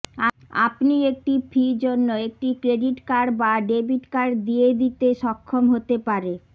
আপনি একটি ফি জন্য একটি ক্রেডিট কার্ড বা ডেবিট কার্ড দিয়ে দিতে সক্ষম হতে পারে